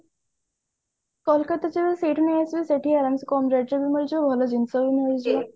କୋଲକତା ରେ ଯୋଉ showroom ଅଛି ସେଠି କମ rate ରେ ବି ମିଳିଯିବ ଭଲ ଜିନିଷ ବି ମିଳିଯିବ